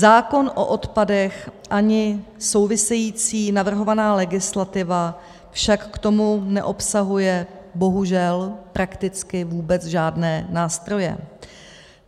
Zákon o odpadech ani související navrhovaná legislativa však k tomu neobsahuje bohužel prakticky vůbec žádné nástroje.